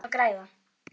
En hver er að græða?